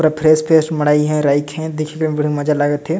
पूरा fresh fresh मोड़ाई है राइख है देखे में बड़ा मज़ा लागत है।